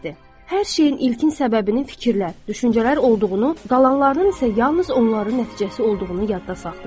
Hər şeyin ilkin səbəbinin fikirlər, düşüncələr olduğunu, qalanlarının isə yalnız onların nəticəsi olduğunu yadda saxlayın.